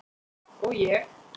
Og ég?